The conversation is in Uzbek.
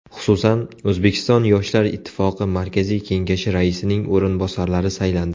Xususan, O‘zbekiston yoshlar ittifoqi Markaziy Kengashi raisining o‘rinbosarlari saylandi.